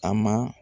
A ma